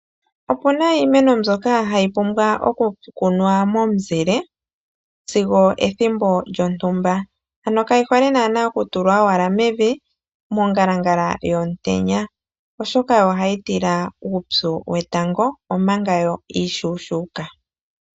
Opuna iimeno mbyoka hayi pumbwa oku kunwa momuzile sigo ethimbo lyontumba. Ano kayi hole naana oku tulwa mevi mongalangala yomutenya oshoka ohayi tila uupyu wetango omanga yo iishuushuka.